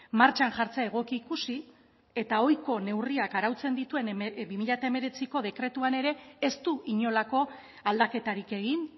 martxan jartzea egoki ikusi eta ohiko neurriak arautzen dituen bi mila hemeretziko dekretuan ere ez du inolako aldaketarik egin